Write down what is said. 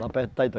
Lá perto de